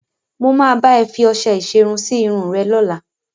Mo máa bá ẹ fi ọṣẹ ìṣerun sí irun rẹ lọ́la.